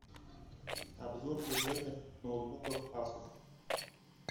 обзор бюджетных ноутбуков асус